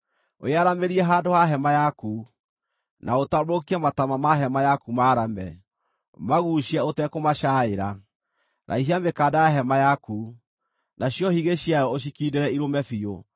“Wĩyaramĩrie handũ ha hema yaku, na ũtambũrũkie mataama ma hema yaku maarame, maguucie ũtekũmacaaĩra; raihia mĩkanda ya hema yaku, nacio higĩ ciayo ũcikiindĩre irũme biũ.